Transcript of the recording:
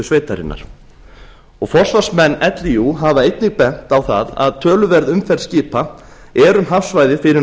sveitarinnar forsvarsmenn líú hafa beinir bent á að töluverð umferð skipa er um hafsvæðið fyrir